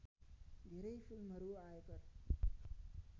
धेरै फिल्महरू आयकर